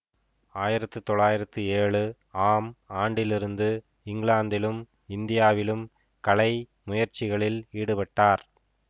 ஆயிரத்தி தொள்ளாயிரத்தி ஏழு ஆம் ஆண்டிலிருந்து இங்கிலாந்திலும் இந்தியாவிலும் கலை முயற்சிகளில் ஈடுபட்டார்